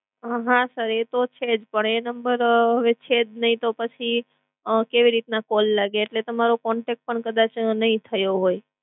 હા sir એ તો છે જ. પણ એ sir હવે છેજ નઇ તો પછી કેવી રીતના call લાગે એટલે તમારો contact પણ કદાચ નઇ થયો હોય.